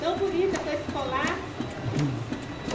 Tão bonita com esse colar.